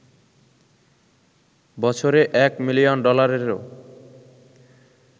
বছরে এক মিলিয়ন ডলারেরও